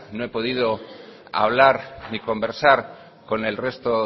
no he podido hablar ni conversar con el resto